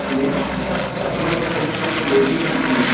Plate सफेद और स्लेटी रंग की है।